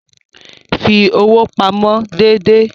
Fi owó pamọ́ déédéé.